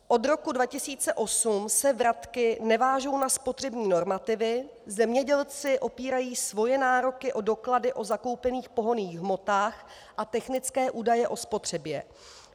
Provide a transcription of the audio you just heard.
Od roku 2008 se vratky nevážou na spotřební normativy, zemědělci opírají své nároky o doklady o zakoupených pohonných hmotách a technické údaje o spotřebě.